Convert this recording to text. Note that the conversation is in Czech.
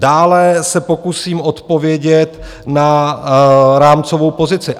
Dále se pokusím odpovědět na rámcovou pozici.